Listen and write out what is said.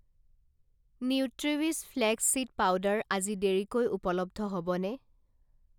Nutriwish flax seed powder আজি দেৰিকৈ উপলব্ধ হ'বনে?